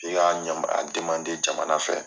I ka a jamana fɛ.